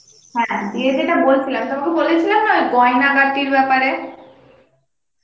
হ্যাঁ দিয়ে যেটা বলছিলাম, তোমাকে বলেছিলাম না ওই গইনা গতির বেপারে